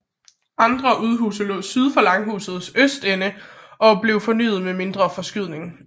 Andre udhuse lå syd for langhusets østende og er blevet fornyet med en mindre forskydning